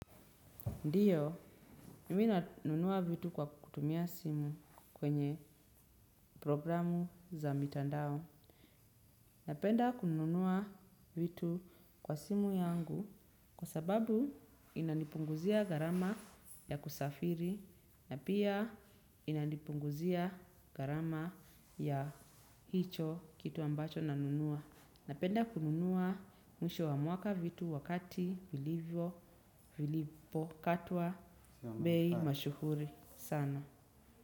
Ndiyo mimi nanunua vitu kwa kutumia simu kwenye programu za mitandao. Napenda kununua vitu kwa simu yangu kwa sababu inanipunguzia gharama ya kusafiri na pia inanipunguzia gharama ya hicho kitu ambacho nanunua. Napenda kununua mwisho wa mwaka vitu wakati vilivyo vilipo katwa bei mashuhuri sana.